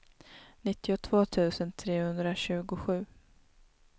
nittiotvå tusen trehundratjugosju